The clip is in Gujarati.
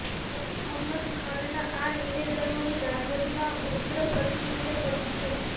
શકીલ અહમદ ખાનના આ નિવેદનોની રાજદમાં ઉગ્ર પ્રતિક્રિયા પડી છે